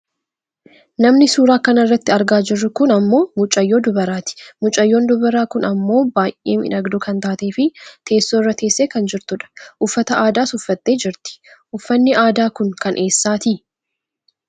Namni suuraa kanarratti argaa jirru kun ammoo mucayyoo dubaraatidha. Mucayyoon dubaraa kun ammoo baayyee miidhagduu kan taateefi teessoo irra teessee kan jirtudha. Uffata aadaas uffatte jirti. Uffanni aadaa kun kan eessaati?